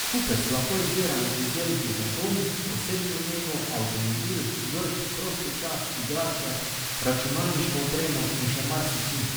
Kupec lahko izbira med izdelki za dom, osebno nego, avtomobil, vrt, prosti čas, igrače, računalniško opremo in še marsičim.